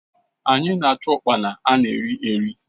Anyị na-achụ ụkpana ana eri eri.